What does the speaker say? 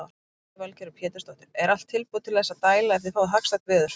Lillý Valgerður Pétursdóttir: Er allt tilbúið til þess að dæla ef þið fáið hagstætt veður?